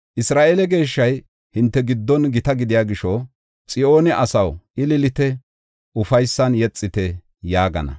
Isra7eele Geeshshay hinte giddon gita gidiya gisho, Xiyoone asaw, ililite, ufaysan yexite!” yaagana.